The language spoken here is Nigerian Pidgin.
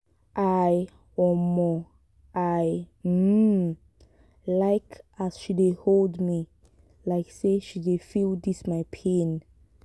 i um i um like as she dey hold me like sey she dey feel dis my pain.